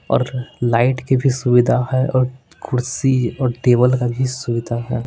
और लाइट की भी सुविधा है और कुर्सी और टेबल का भी सुविधा है।